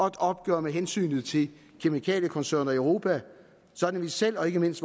et opgør med hensynet til kemikaliekoncerner i europa sådan at vi selv og ikke mindst